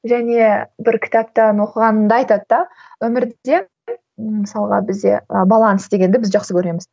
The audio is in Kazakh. және бір кітаптан оқығанымда айтады да өмірде ммм мысалға бізде і баланс дегенді біз жақсы көреміз